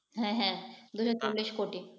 হ্যাঁ হ্যাঁ